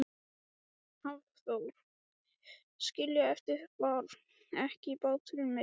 Hafþór: Skilja eftir, bar ekki báturinn meira?